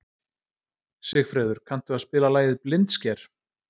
Sigfreður, kanntu að spila lagið „Blindsker“?